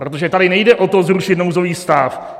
Protože tady nejde o to, zrušit nouzový stav.